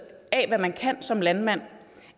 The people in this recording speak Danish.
af hvad man kan som landmand